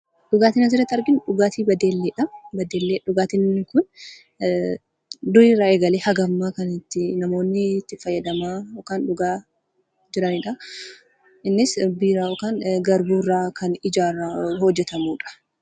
Dhugaatiin asirratti arginu dhugaatii baddelleedha. Baddelleen dhugaatiin inni kun dur irraa eegalee namoonni itti fayyadamaa yookaan dhugaa jiranidha. Innis biiraa yookaan garbuurraa kna hojjatameedha.